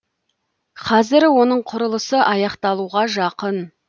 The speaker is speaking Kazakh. қазір оның құрылысы аяқталуға жақын